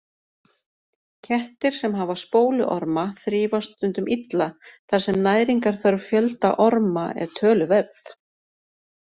Kettir sem hafa spóluorma þrífast stundum illa þar sem næringarþörf fjölda orma er töluverð.